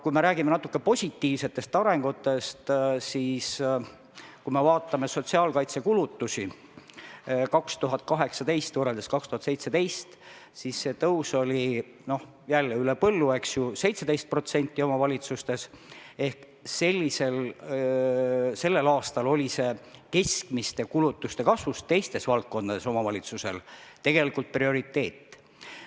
Kui räägime aga natuke positiivsematest arengusuundadest, siis 2018. aasta sotsiaalkaitsekulutusi 2017. aasta kulutustega võrreldes oli tõus omavalitsustes jälle üle põllu, eks ju, 17% – ehk et sel aastal oli see teiste valdkondade keskmiste kulutuste kasvu arvestades omavalitsustel tegelikult prioriteet.